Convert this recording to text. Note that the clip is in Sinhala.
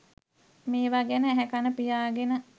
මේවා ගැන ඇහැ කන පියාගෙන